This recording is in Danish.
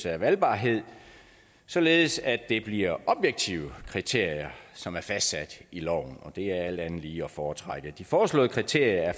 af valgbarhed således at det bliver objektive kriterier som er fastsat i loven og det er alt andet lige at foretrække de foreslåede kriterier